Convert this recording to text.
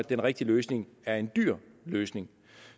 den rigtige løsning er en dyr løsning